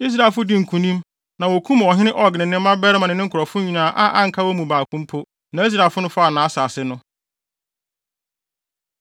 Israelfo dii nkonim na wokum ɔhene Og ne ne mmabarima ne ne nkurɔfo nyinaa a anka wɔn mu baako mpo. Na Israelfo no faa nʼasase no.